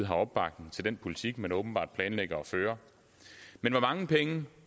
har opbakning til den politik man åbenbart planlægger at føre men hvor mange penge